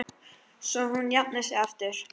Svo hún jafni sig aftur.